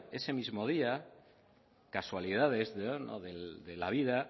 ese mismo día casualidades de la vida